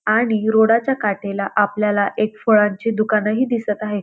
आणि रोडा च्या काठेला आपल्याला एक फळांची दुकान ही दिसत आहे.